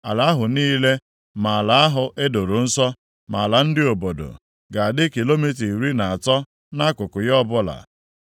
Ala ahụ niile, ma ala ahụ e doro nsọ, ma ala ndị obodo, ga-adị kilomita iri na atọ nʼakụkụ ya ọbụla.